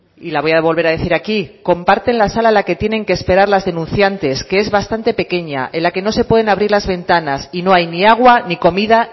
y la voy a volver a decir aquí comparten la sala en la que tienen que esperar las denunciantes que es bastante pequeña en la que no se pueden abrir las ventanas y no hay ni agua ni comida